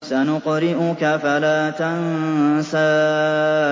سَنُقْرِئُكَ فَلَا تَنسَىٰ